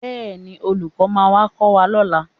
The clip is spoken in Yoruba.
Bẹ́ẹ̀ni, olùkọ́ máa wá kọ́ wa lọ́la